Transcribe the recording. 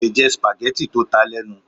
Kò lè jẹ spaghetti tó ta lenu